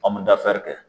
An bɛ dafɛri kɛ